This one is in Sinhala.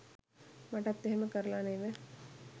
මටත් එහෙම කරල නෙව